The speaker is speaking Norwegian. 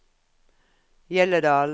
Hjelledalen